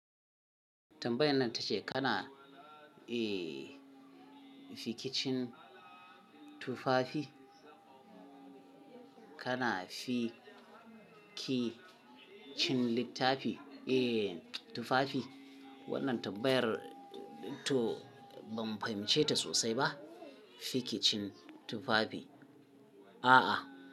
Tabbayan nan ta ce kana, eh, fikicin tufafi, kana fikicin littafi? Eh, tufafi. Wannan tabbayar to ban fahimce ta sosai ba. Fikicin tufafi. A'a.